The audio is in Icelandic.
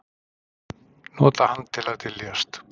Nota hann til að dyljast.